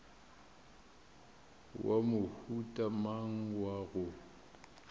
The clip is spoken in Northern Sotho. wa mohuta mang wa go